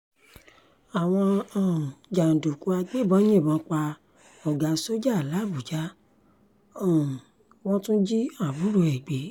àwọn um jàǹdùkú agbébọn yìnbọn pa ọ̀gá sójà làbújá um wọn tún jí àbúrò ẹ̀ gbé